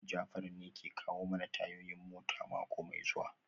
Jafar ne ke kawo mana tayoyin mota mako mai zuwa